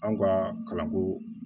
An ka kalanko